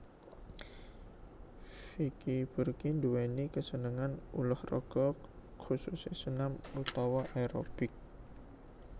Virku Burky nduwèni kasenengan ulah raga khususé senam utawa aerobik